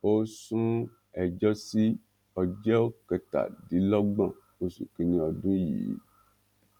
ó sún ẹjọ sí ọjọ kẹtàdínlọgbọn oṣù kìnínní ọdún yìí